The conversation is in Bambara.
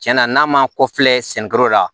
Tiɲɛna n'a ma kɔfilɛ sɛnɛkɛlaw la